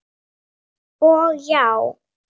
Og já.